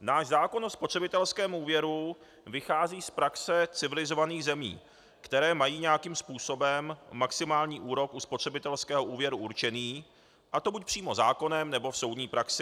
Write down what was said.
Náš zákon o spotřebitelském úvěru vychází z praxe civilizovaných zemí, které mají nějakým způsobem maximální úrok u spotřebitelského úvěru určený, a to buď přímo zákonem, nebo v soudní praxi.